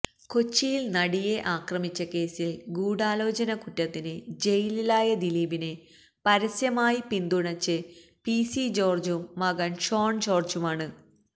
കൊച്ചിയിൽ നടിയെ ആക്രമിച്ച കേസിൽ ഗൂഢാലോചന കുറ്റത്തിന് ജയിലിലായ ദിലീപിനെ പരസ്യമായി പിന്തുണച്ചത് പിസി ജോർജും മകൻ ഷോൺ ജോർജുമാണ്